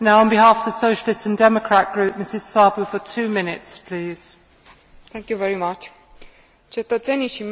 Cetățenii și mediul din Uniunea Europeană trebuie să beneficieze de protecția oferită de interzicerea fumatului în spațiile publice.